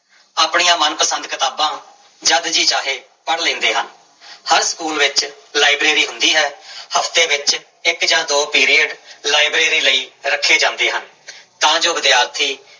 ਆਪਣੀਆਂ ਮਨ ਪਸੰਦ ਕਿਤਾਬਾਂ ਜਦ ਜੀਅ ਚਾਹੇ ਪੜ੍ਹ ਲੈਂਦੇ ਹਨ ਹਰ ਸਕੂਲ ਵਿੱਚ ਲਾਇਬ੍ਰੇਰੀ ਹੁੰਦੀ ਹੈ ਹਫ਼ਤੇ ਵਿੱਚ ਇੱਕ ਜਾਂ ਦੋ ਪੀਰੀਅਡ ਲਾਇਬ੍ਰੇਰੀ ਲਈ ਰੱਖੇ ਜਾਂਦੇ ਹਨ ਤਾਂ ਜੋ ਵਿਦਿਆਰਥੀ